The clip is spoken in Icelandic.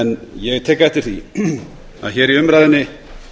ég tek eftir því að hér í umræðunni